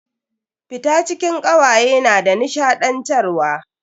Fita cikin kawaye na da nishadantarwa.